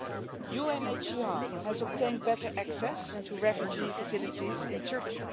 The UNHCR has obtained better access to refugee facilities in Turkey.